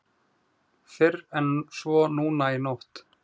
Fyrr en svo núna í nótt.